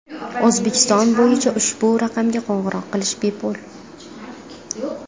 O‘zbekiston bo‘yicha ushbu raqamga qo‘ng‘iroq qilish bepul.